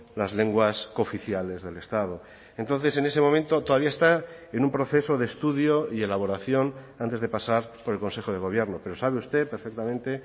las lenguas cooficiales del estado entonces en ese momento todavía está en un proceso de estudio y elaboración antes de pasar por el consejo de gobierno pero sabe usted perfectamente